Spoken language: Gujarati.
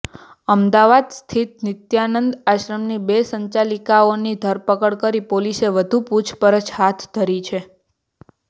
અમદાવાદ સ્થિત નિત્યાનંદ આશ્રમની બે સંચાલિકાઓની ધરપકડ કરી પોલીસે વધુ પુછપરછ હાથ ધરી છે